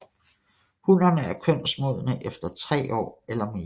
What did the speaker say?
Hunnerne er kønsmodne efter tre år eller mere